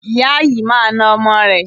Ìyá yìí máa na ọmọ rẹ̀.